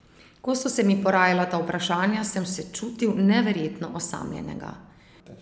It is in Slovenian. Ko so se mi porajala ta vprašanja, sem se čutil neverjetno osamljenega.